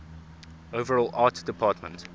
overall art department